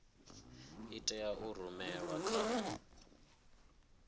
i tea u rumelwa kha